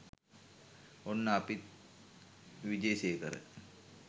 ඔන්න අපිත් විජේසේකර